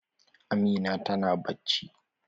Amina ta na bacci.